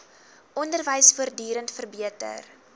onderwys voortdurend verbeter